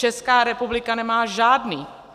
Česká republika nemá žádný.